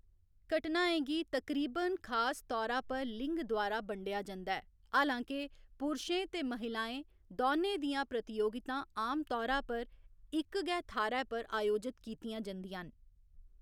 घटनाएं गी तकरीबन खास तौरा पर लिंग द्वारा बंडेआ जंदा ऐ, हालांके पुरशें ते महिलाएं दौनें दियां प्रतियोगितां आमतौरा पर इक गै थाह्‌‌‌रै पर आयोजत कीतियां जंदियां न।